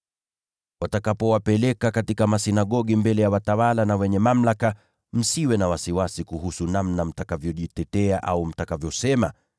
“Watakapowapeleka katika masinagogi, na mbele ya watawala na wenye mamlaka, msiwe na wasiwasi kuhusu namna mtakavyojitetea au mtakavyosema.